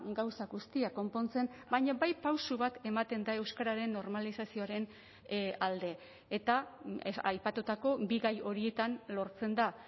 gauza guztiak konpontzen baina bai pauso bat ematen da euskararen normalizazioaren alde eta aipatutako bi gai horietan lortzen da